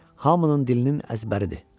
Hamının dilinin əzbəridir.